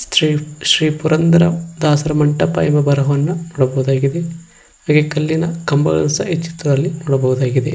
ಶ್ರೀ ಶ್ರೀ ಪುರಂದರ ದಾಸರ ಮಂಟಪ ಎಂಬ ಬರವನ್ನು ನೋಡಬಹುದಾಗಿದೆ ಹಾಗೆ ಕಲ್ಲಿನ ಕಂಬಗಳ ಸಹ ಚಿತ್ರದಲ್ಲಿ ನೋಡಬಹುದಾಗಿದೆ.